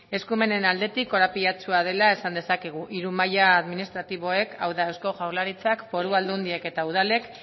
eskumenen aldetik korapilatsua dela esan dezakegu hiru maila administratiboek hau da eusko jaurlaritzak foru aldundiek eta udalek